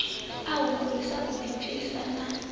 a humbulisa u ḓipfisa na